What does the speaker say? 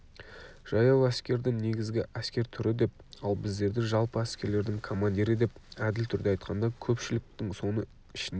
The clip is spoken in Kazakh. жаяу әскерді негізгі әскер түрі деп ал біздерді жалпы әскерлердің командирі деп әділ түрде айтқанда көпшіліктің соның ішінде